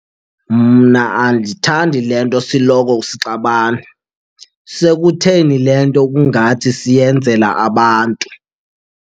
Mna andithandi le nto siloko sixabana. Sekutheni le nto kungathi siyenzela abantu?